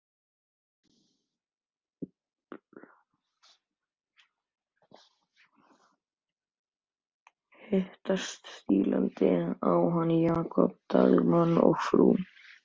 Hitt stílaði hann á Jakob Dalmann og frú.